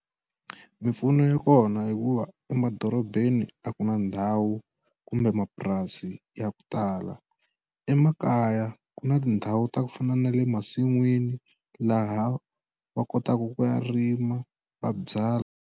Mimpfuno ya kona hikuva emadorobeni a ku na ndhawu kumbe mapurasi ya ku tala emakaya ku na tindhawu ta ku fana na le masin'wini laha va kotaka ku ya rima va byala.